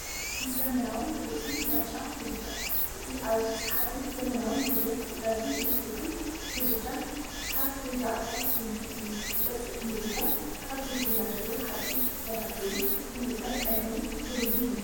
ኣዝዩ ዘመናውን ብሉጽን ምርጫ ምድጃ! እዚ ኣዝዩ ሰሓብን ዘመናውን ውህደት ጋዝን ኤሌክትሪክን ምድጃ ካብ "ሪዳ ኣፕላንስ" ምልክት እዩ። ገጽ እቲ ምድጃ ካብ ዘይተበላሸወ ሓጺን ዝተሰርሐ ኮይኑ ንምጽራይ ቀሊልን ንብሩህን እዩ።